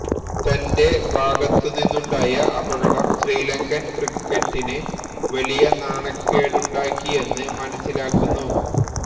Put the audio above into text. തന്റെ ഭാഗത്തുനിന്നുണ്ടായ അപകടം ശ്രീലങ്കന് ക്രിക്കറ്റിന് വലിയ നാണക്കേടുണ്ടാക്കിയെന്ന് മനസിലാക്കുന്നു